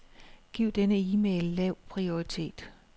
Giv denne e-mail lav prioritet.